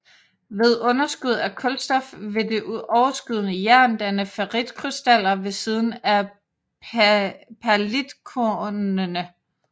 Ved underskud af kulstof vil det overskydende jern danne ferritkrystaller ved siden af perlitkornene